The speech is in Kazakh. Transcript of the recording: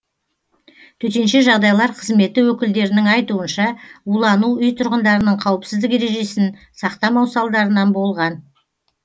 төтенше жағдайлар қызметі өкілдерінің айтуынша улану үй тұрғындарының қауіпсіздік ережесін сақтамау салдарынан болған